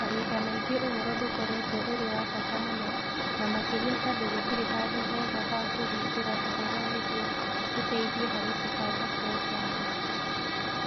Mahinda maingĩ ũhoro ndũkoretwo ũrĩ wa bata mũno, na makĩria tondũ gũtirĩ handũ hega ha kũhingũra ũhoro nĩguo ũteithie harĩ kũbanga programu.